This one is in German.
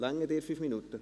Reichen dir 5 Minuten?